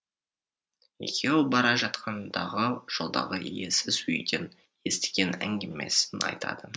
екеуі бара жатқандағы жолдағы иесіз үйден естіген әнгімесін айтады